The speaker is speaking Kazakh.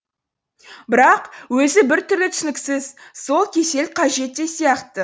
бірақ өзі бір түрлі түсініксіз сол кесел қажет те сияқты